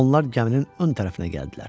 Onlar gəminin ön tərəfinə gəldilər.